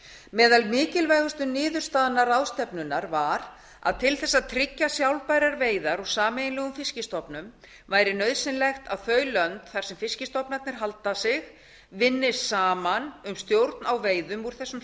meðal mikilvægustu niðurstaðna ráðstefnunnar var að til að tryggja sjálfbærar veiðar úr sameiginlegum fiskstofnum væri nauðsynlegt að þau lönd þar sem fiskstofnarnir halda sig vinni saman um stjórn á veiðum úr þessum